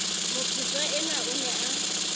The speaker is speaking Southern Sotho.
mophetwa enwa o ne a